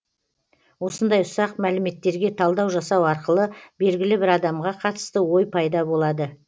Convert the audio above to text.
осындай ұсақ мәліметтерге талдау жасау арқылы белгілі бір адамға қатысты ой пайда болады